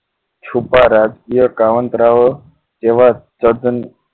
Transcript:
છુપા રાજય કાવંતરા ઓ જેવા તદ્દન